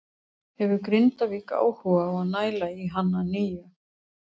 Hefur Grindavík áhuga á að næla í hann að nýju?